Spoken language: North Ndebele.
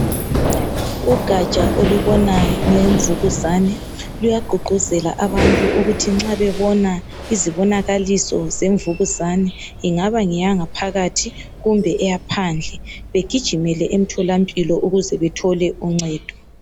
Ugatsha olubona ngemvukuzane bayaqhuqhuzela abantu ukuthi nxa bebona izibonakaliso zemvukuzane ingaba ngeyangaphakathi kumbe eyaphandle begijimele emtholampilo ukuze bethole uncedo